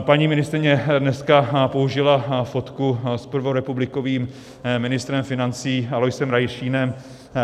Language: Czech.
Paní ministryně dneska použila fotku s prvorepublikovým ministrem financí Aloisem Rašínem,